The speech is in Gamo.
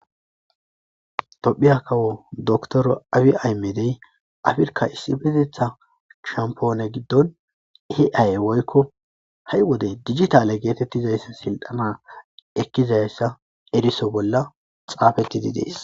Toophphiya kawo doctor abiy ahimedi afirkkaa issipetheththaa shamppoone giddon ai woykko ha wode digithaale geetheeththizayssi silxxanaa ekkizayssa eriso bolla xaafethide de7ees.